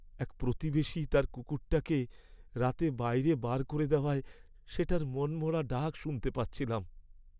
এক প্রতিবেশী তার কুকুরটাকে রাতে বাড়ির বাইরে বার করে দেওয়ায় সেটার মনমরা ডাক শুনতে পাচ্ছিলাম।